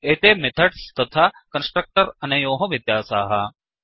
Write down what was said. एते मेथड्स् तथा कन्स्ट्रक्टर्स् अनयोः व्यत्यासाः